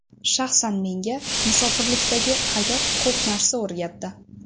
Shaxsan menga, musofirlikdagi hayot ko‘p narsa o‘rgatdi.